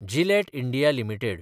Gillette India limited